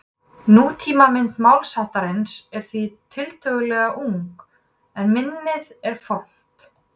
Nútímamynd málsháttarins er því tiltölulega ung en minnið er fornt.